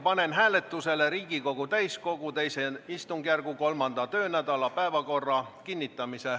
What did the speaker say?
Panen hääletusele Riigikogu täiskogu II istungjärgu 3. töönädala päevakorra.